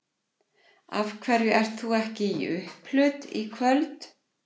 Af hverju ert þú ekki í upphlut í kvöld?